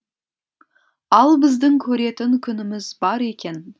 ал біздің көретін күніміз бар екен